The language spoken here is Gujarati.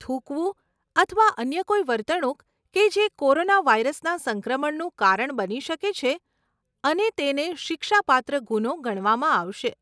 થૂંકવું અથવા અન્ય કોઈ વર્તણૂક કે જે કોરોનાવાયરસના સંક્રમણનું કારણ બની શકે છે અને તેને શિક્ષાપાત્ર ગુનો ગણવામાં આવશે.